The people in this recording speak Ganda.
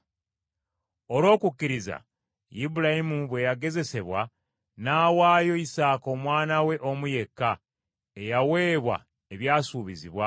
Olw’okukkiriza Ibulayimu bwe yagezesebwa, n’awaayo Isaaka omwana we omu yekka, eyaweebwa ebyasuubizibwa,